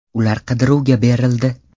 Ular qidiruvga berildi.